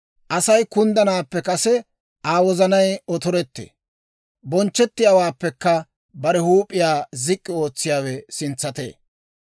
Asay kunddanaappe kase Aa wozanay otorettee; bonchchettiyaawaappekka bare huup'iyaa zik'k'i ootsiyaawe sintsatee.